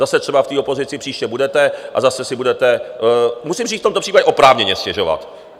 Zase třeba v té opozici příště budete a zase si budete, musím říct v tomto případě, oprávněně stěžovat.